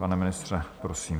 Pane ministře, prosím.